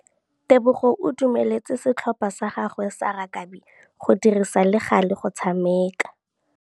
Tebogô o dumeletse setlhopha sa gagwe sa rakabi go dirisa le galê go tshameka.